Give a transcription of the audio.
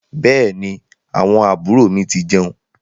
Bẹẹni, àwọn àbúrò mi ti jeun